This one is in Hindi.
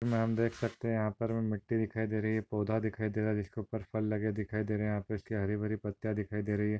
हमें यहाँ पर देख सकते है यहाँपर हमे मिट्टी दिखाई दे रही है पौधा दिखाई दे रहा जिसके उपर फल लगे दिखाई दे रहे यहाँपे इसकी हरी भरी पत्तिया दिखाई दे रही है।